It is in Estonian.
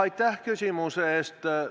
Aitäh küsimuse eest!